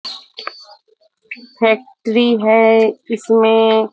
factory है इसमें --